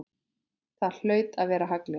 Það hlaut að vera haglél!